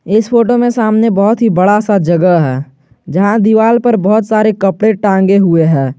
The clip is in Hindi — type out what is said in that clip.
इस फोटो में सामने बहुत ही बड़ा सा जगह है यहां दीवाल पर बहुत सारे कपड़े टांगे हुए है।